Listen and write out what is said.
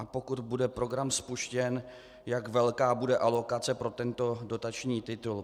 A pokud bude program spuštěn, jak velká bude alokace pro tento dotační titul.